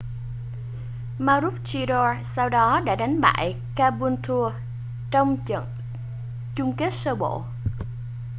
maroochydore sau đó đã đánh bại caboolture trong trận chung kết sơ bộ